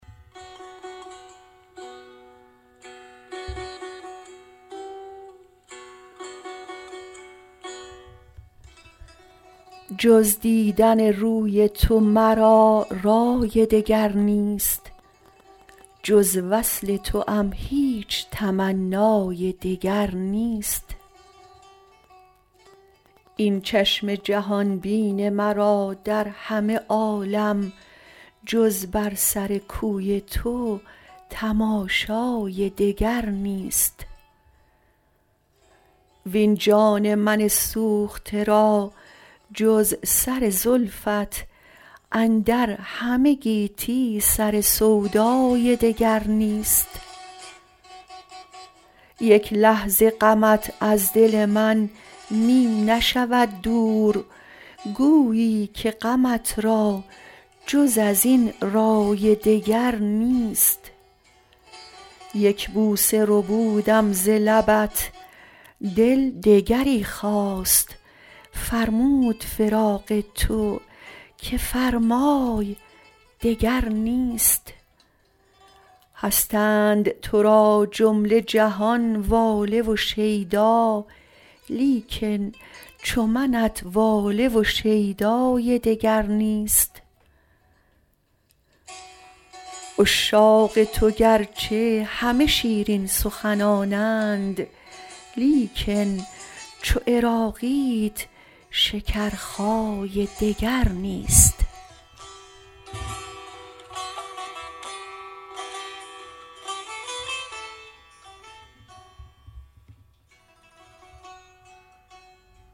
جز دیدن روی تو مرا رای دگر نیست جز وصل توام هیچ تمنای دگر نیست این چشم جهان بین مرا در همه عالم جز بر سر کوی تو تماشای دگر نیست وین جان من سوخته را جز سر زلفت اندر همه گیتی سر سودای دگر نیست یک لحظه غمت از دل من می نشود دور گویی که غمت را جز ازین رای دگر نیست یک بوسه ربودم ز لبت دل دگری خواست فرمود فراق تو که فرمای دگر نیست هستند تو را جمله جهان واله و شیدا لیکن چو منت واله و شیدای دگر نیست عشاق تو گرچه همه شیرین سخنانند لیکن چو عراقیت شکرخای دگر نیست